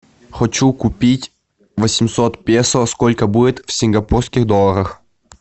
хочу купить восемьсот песо сколько будет в сингапурских долларах